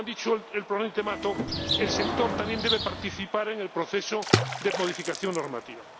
Como ha dicho el ponente Mato, el sector también debe participar en el proceso de modificación normativa.